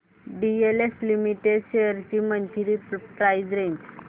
DLF limited shares ची monthly price range